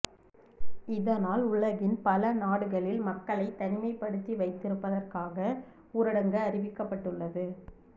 இதனால் உலகின் பல நாடுகளில் மக்களை தனிமைப்படுத்தி வைத்திருப்பதற்காக உரடங்கு அறிவிக்கப்பட்டுள்ளது